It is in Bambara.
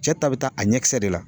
Cɛ ta bɛ taa a ɲɛ kisɛ de la